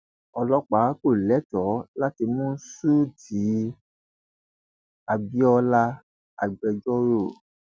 ọlọpàá kò lẹtọọ láti mú ṣúté abiolaagbejọrò